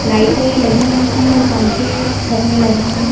लाइटें लगी हुई है और पंखे छत में लगे हैं।